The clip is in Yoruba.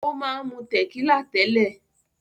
Ó máa ń mu tẹ̀kílà tẹ́lẹ̀.